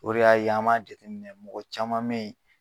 O de ya ye, an b'a jateminɛ mɔgɔ caman be yen